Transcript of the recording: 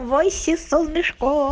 войси солнышко